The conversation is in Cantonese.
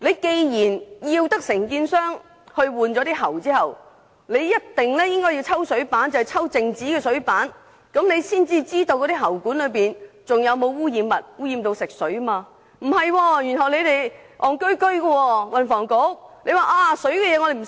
既然當局要求承建商更換喉管，便一定要抽取靜止的水樣本進行化驗，才可知道喉管內是否含有污染食水的物質，而不是這樣進行化驗。